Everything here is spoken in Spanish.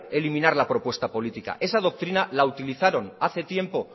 eliminar la propuesta política esa doctrina la utilizaron hace tiempo